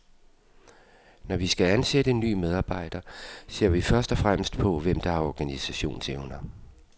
Når vi skal ansætte en nye medarbejder, ser vi først og fremmest på, hvem der har organisationsevner.